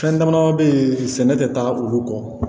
Fɛn dama dama be yen sɛnɛ te taa olu kɔ